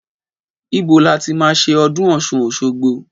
Ìbó làtí mà sẹ ọdún ọsún òṣogbo?